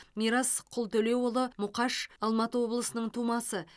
мирас құлтөлеуұлы мұқаш алматы облысының тумасы